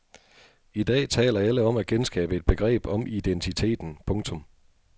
I dag taler alle om at genskabe et begreb om identiteten. punktum